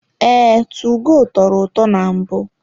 Ee, tugo tọrọ ụtọ na mbụ.